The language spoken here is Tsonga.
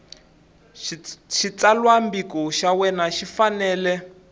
xitsalwambiko xa wena xi fanele